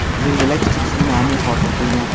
Zilzila kichik sunami hosil qilgan.